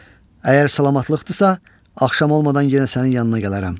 Əgər salamatlıqdırsa, axşam olmadan yenə sənin yanına gələrəm.